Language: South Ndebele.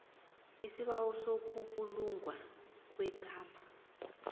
isibawo sokubulungwa kwegama